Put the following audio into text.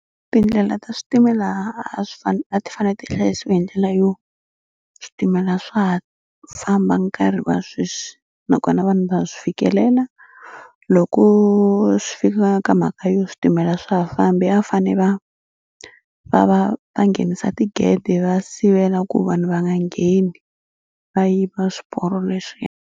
Tindlela ta switimela a swi fanele a ti fanele ti hlayisiwa hi ndlela yo switimela swa ha famba nkarhi wa sweswi nakona vanhu va swi fikelela. Loko swi fika ka mhaka yo switimela swa ha fambi a va fanele va va va va nghenisa tigede va sivela ku vanhu va nga ngheni va yiva swiporo leswiya.